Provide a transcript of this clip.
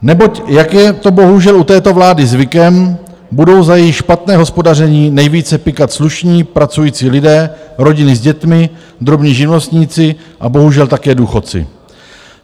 Neboť jak je to bohužel u této vlády zvykem, budou za její špatné hospodaření nejvíce pykat slušní pracující lidé, rodiny s dětmi, drobní živnostníci a bohužel také důchodci.